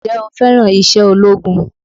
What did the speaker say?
Ǹjẹ́ o fẹ́ràn iṣẹ́ ológun?